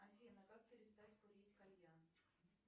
афина как перестать курить кальян